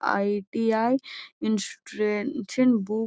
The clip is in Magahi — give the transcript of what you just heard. आई.टी.आई. इंस्ट्रेसेन बु --